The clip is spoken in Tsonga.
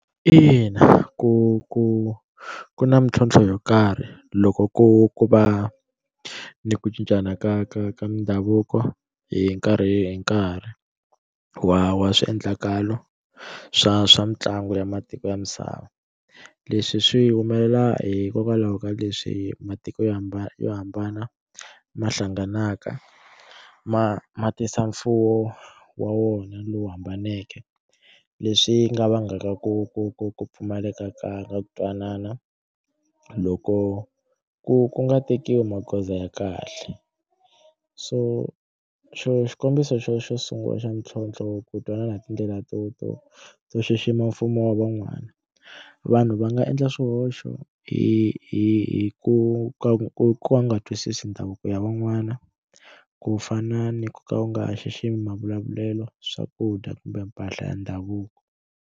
Ina, ku ku ku na mintlhontlho yo karhi loko ku ku va ni ku cincana ka ka ka mindhavuko hi nkarhi hi nkarhi wa wa swiendlakalo swa swa mitlangu ya matiko ya misava leswi swi humelela hikokwalaho ka leswi matiko yo hambana yo hambana ma hlanganaka ma ma tisa mfuwo wa wona lowu hambaneke leswi nga vangaka ku ku ku ku pfumaleka ka ka ku twanana loko ku ku nga tekiwi magoza ya kahle so xo xikombiso xo xo sungula xa mintlhontlho ku twanana hi tindlela to to to xixima mfumo wa van'wana vanhu va nga endla swihoxo hi hi ku ku ku nga twisisi ndhavuko ya van'wana ku fana ni ku ka u nga xiximi mavulavulelo swakudya kumbe mpahla ya ndhavuko.